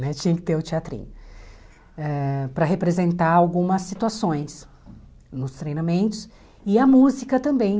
né tinha que ter o teatrinho, eh para representar algumas situações nos treinamentos e a música também.